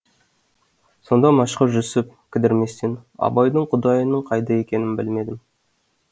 сонда мәшһүр жүсіп кідірместен абайдың құдайының қайда екенін білмедім